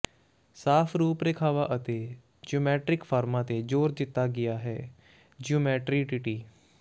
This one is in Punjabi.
ਸਾਫ਼ ਰੂਪ ਰੇਖਾਵਾਂ ਅਤੇ ਜਿਓਮੈਟਿਕ ਫਾਰਮਾਂ ਤੇ ਜ਼ੋਰ ਦਿੱਤਾ ਗਿਆ ਹੈ ਜਿਓਮੈਟਰੀਟੀਟੀ